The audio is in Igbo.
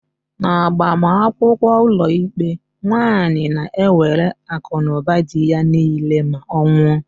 N'agbamakwụkwọ ụlọikpe, nwaanyi na-ewere akụnụba dị ya niile ma ọ nwụọ.